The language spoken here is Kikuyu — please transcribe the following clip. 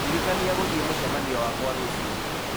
ndirikania gũthiĩ mũcemanio wakwa rũciũ